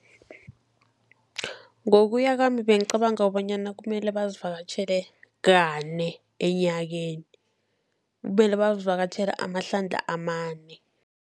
Ngokuya kwami bengicabanga kobanyana kumele bazivakatjhele kane enyakeni, kumele bazivakatjhele amahlandla amane.